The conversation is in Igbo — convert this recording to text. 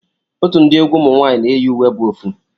Otu ndi egwu ụmụnwanyi na eyi uwe bu ofu.